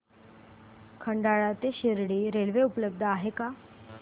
खंडाळा ते शिर्डी रेल्वे उपलब्ध आहे का